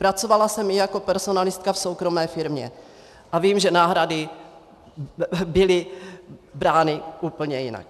Pracovala jsem i jako personalistka v soukromé firmě a vím, že náhrady byly brány úplně jinak.